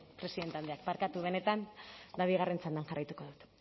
presidente andreak barkatu benetan ba bigarren txandan jarraituko dut